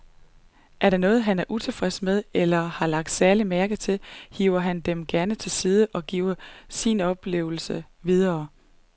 Er der noget, han er utilfreds med eller har lagt særlig mærke til, hiver han dem gerne til side og giver sine oplevelser videre.